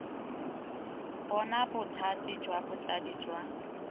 bona bothati jwa botsadi jwa